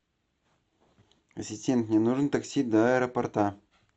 ассистент мне нужен такси до аэропорта